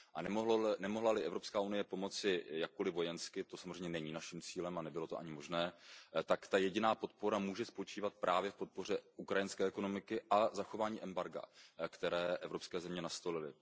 A nemohla li Evropská unie pomoci jakkoliv vojensky, to samozřejmě není naším cílem a nebylo to ani možné, tak ta jediná podpora může spočívat právě v podpoře ukrajinské ekonomiky a zachování embarga, které evropské země nastolily.